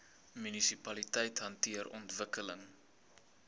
munisipaliteite hanteer ontwikkeling